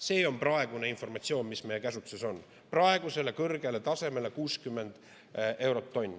See on praegune informatsioon, mis meie käsutuses on: praegusele kõrgele tasemele, 60 eurot tonn.